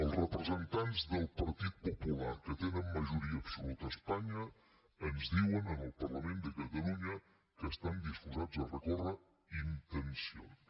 els representants del partit popular que tenen majoria absoluta a espanya ens diuen en el parlament de catalunya que estan disposats a recórrer intencions